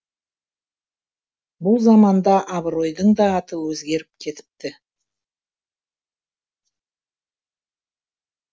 бұл заманда абыройдың да аты өзгеріп кетіпті